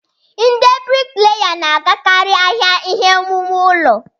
Ndị brikleya na-agakarị ahịa ihe owuwu ụlọ.